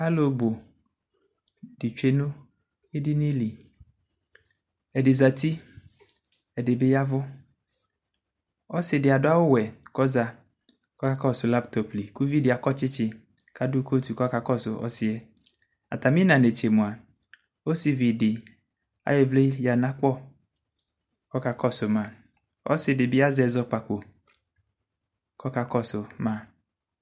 Alʋbʋ tsue nʋ edinili ɛdi zati ɛdibi ya ɛvʋ ɔsidi adʋ awʋwɛ kʋ ɔza kakɔsɔ laptop li kʋ ʋvidi akɔ tsitsi kadʋ kotʋ kasʋ ɔsiyɛ atami ina netse mua ɔsivi di ayɔ ivli yanʋ akpɔ kʋ ɔka kɔsʋ ma ɔsidi bi azɛ ɛzɔkpako kʋ ɔkakɔsʋ ma